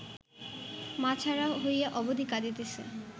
মা ছাড়া হইয়া অবধি কাঁদিতেছে